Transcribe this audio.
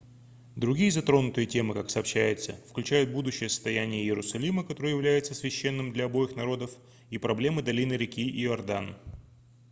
другие затронутые темы как сообщается включают будущее состояние иерусалима который является священным для обоих народов и проблему долины реки иордан